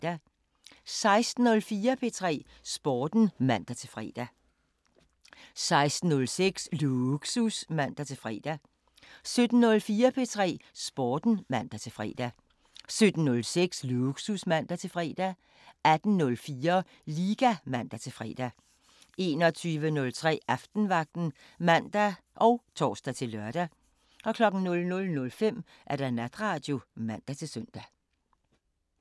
16:04: P3 Sporten (man-fre) 16:06: Lågsus (man-fre) 17:04: P3 Sporten (man-fre) 17:06: Lågsus (man-fre) 18:04: Liga (man-fre) 21:03: Aftenvagten (man og tor-lør) 00:05: Natradio (man-søn)